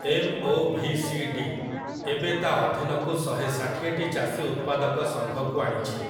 MOVCD. ଏବେ ତା' ଅଧୀନକୁ ଶହେ ଷାଠିଏଟି ଚାଷୀ ଉତ୍ପାଦକ ସଂଘକୁ ଆଣିଛି ।